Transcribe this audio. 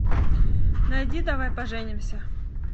найди давай поженимся